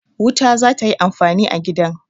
Wuta za ta yi amfani a gidan.